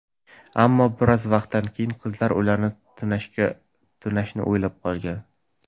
Ammo, biroz vaqtdan keyin qizlar ularni tunashni o‘ylab qo‘ygan.